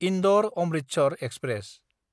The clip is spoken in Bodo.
इन्दर–अमृतसर एक्सप्रेस